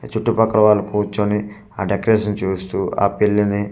చుట్టు పక్కల వాళ్ళు కూర్చొని ఆ డెకరేషన్ చూస్తూ ఆ పెళ్లిని